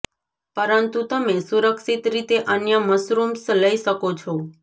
પરંતુ તમે સુરક્ષિત રીતે અન્ય મશરૂમ્સ લઈ શકો છો